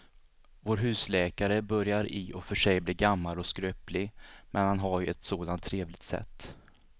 Vår husläkare börjar i och för sig bli gammal och skröplig, men han har ju ett sådant trevligt sätt!